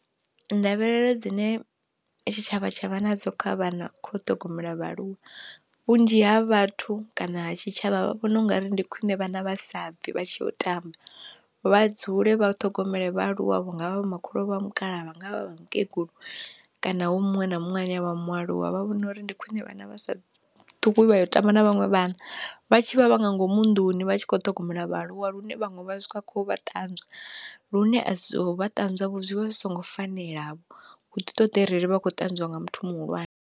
Ndavhelelo dzine tshitshavha tsha vha na dzo kha vhana kha u ṱhogomela vhaaluwa, vhunzhi ha vhathu kana ha tshitshavha vha vhona ungari ndi khwiṋe vhana vhasa bvi vha tshi ya u tamba vha dzule vha ṱhogomele vhaaluwa vhunga vha vho makhulu vha mukalaha nga vhakegulu kana hu muṅwe na muṅwe ane a vha mualuwa, vha vhona uri ndi khwine vhana vhasa ṱhukhu vha ya u tamba na vhanwe vhana vha tshi vha vha nga ngomu nnḓuni vha tshi kho ṱhogomela vhaaluwa lune vhaṅwe vha vha kho vha ṱanzwa lune a so vha ṱanzwa zwi vha zwi songo fanela vho, hu di ṱoḓa arali vha kho ṱanzwa nga muthu muhulwane.